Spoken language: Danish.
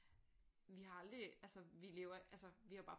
Vi har aldrig altså vi lever altså vi har bare